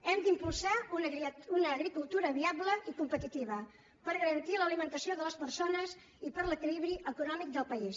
hem d’impulsar una agricultura viable i competitiva per garantir l’alimentació de les persones i per a l’equilibri econòmic del país